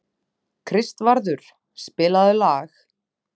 Kristvarður, spilaðu lag.